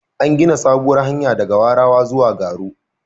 An gina sabuwar hanya daga Warawa zuwa Garo.